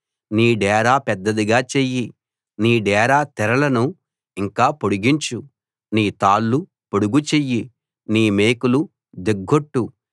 నీ డేరా పెద్దదిగా చెయ్యి నీ డేరా తెరలను ఇంకా పొడిగించు నీ తాళ్ళు పొడుగు చెయ్యి నీ మేకులు దిగ్గొట్టు